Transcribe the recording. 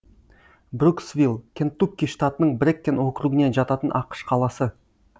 бруксвилл кентукки штатының брэккен округіне жататын ақш қаласы